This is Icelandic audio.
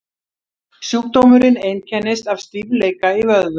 sjúkdómurinn einkennist af stífleika í vöðvum